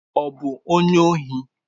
Ọ bụ onye ohi?